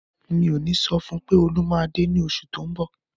Mi ò ní sọ fún un pé Olú máa dé ní oṣù tí ń bọ̀.